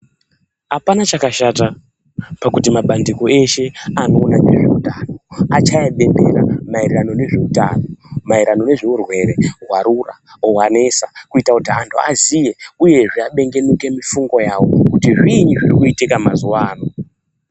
Apana chakashta pakuti mabandiko eshe anoona ngezveutano achaye bembera maererano ngezveutano, maererano nezveurwere hwarura oro hwanesa kuti antu aziye uye abengenuke mifungo yavo kuti zviinyi zviri kuitika mazuwa ano.